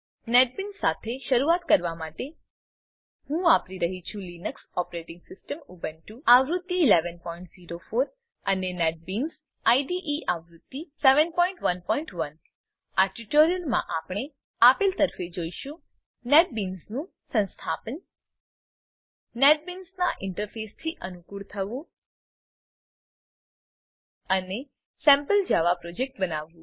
NetBeans સાથે શરૂઆત કરવા માટે હું વાપરી રહ્યી છું લીનક્સ ઓપરેટીંગ સીસ્ટમ ઉબુન્ટુ આવૃત્તિ 1104 અને નેટબીન્સ આઈડીઈ આવૃત્તિ 711 આ ટ્યુટોરીયલમાં આપણે આપેલ તરફે જોઈશું નેટબીન્સનું સંસ્થાપન નેટબીન્સનાં ઈન્ટરફેસથી અનુકુળ થવું અને સેમ્પલ જાવા પ્રોજેક્ટ બનાવવું